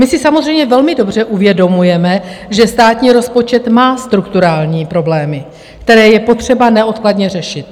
My si samozřejmě velmi dobře uvědomujeme, že státní rozpočet má strukturální problémy, které je potřeba neodkladně řešit.